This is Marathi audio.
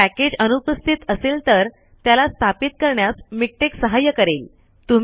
जर पैकेज अनुपस्थित असेल तर त्याला स्थापित करण्यास मिक्टेक सहाय्य करेल